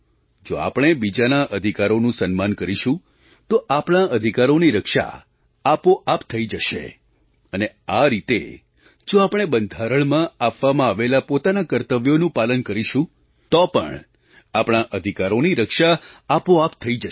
જો આપણે બીજાના અધિકારોનું સન્માન કરીશું તો આપણા અધિકારોની રક્ષા આપોઆપ થઈ જશે અને આ રીતે જો આપણે બંધારણમાં આપવામાં આવેલાં પોતાનાં કર્તવ્યોનું પાલન કરીશું તો પણ આપણા અધિકારોની રક્ષા આપોઆપ જ થઈ જશે